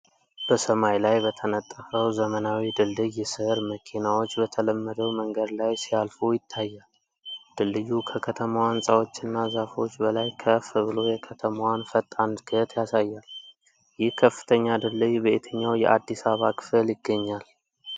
በሰማይ ላይ በተነጠፈው ዘመናዊ ድልድይ ስር መኪናዎች በተለመደው መንገድ ላይ ሲያልፉ ይታያል። ድልድዩ ከከተማዋ ሕንጻዎችና ዛፎች በላይ ከፍ ብሎ የከተማዋን ፈጣን እድገት ያሳያል። ይህ ከፍተኛ ድልድይ በየትኛው የአዲስ አበባ ክፍል ይገኛል?